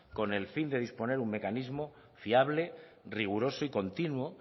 con el fin de disponer un mecanismo fiable riguroso y continuo